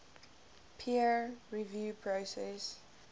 peer review process